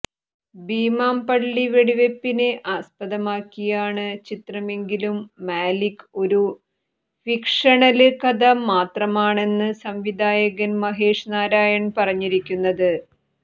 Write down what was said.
ഭീമാം പള്ളി വെടിവെപ്പിനെ ആസ്പദമാക്കിയാണ് ചിത്രമെങ്കിലും മാലിക്ക് ഒരു ഫിക്ഷണല് കഥ മാത്രമാണെന്ന് സംവിധായകന് മഹേഷ് നാരായണന് പറഞ്ഞിരിക്കുന്നത്